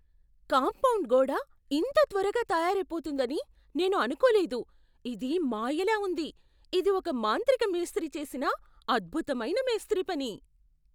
Compound గోడ ఇంత త్వరగా తయారైపోతుందని నేను అనుకోలేదు. ఇది మాయలా ఉంది! ఇది ఒక మాంత్రిక మేస్త్రీ చేసిన అద్భుతమైన మేస్త్రీ పని.